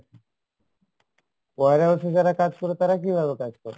warehouse এ যারা কাজ করে তারা কীভাবে কাজ করে?